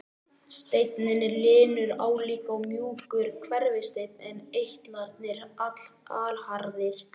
Steinninn er linur, álíka og mjúkur hverfisteinn en eitlarnir allharðir.